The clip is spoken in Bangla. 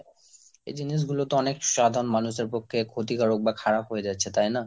এই জিনিসগুলোতে অনেক সাধারণ মানুষের পক্ষে ক্ষতিকারক বা খারাপ হয়ে যাচ্ছে। তাই না?